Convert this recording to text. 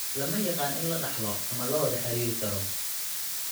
Lama yaqaan in la dhaxlo ama la wada xiriiri karo.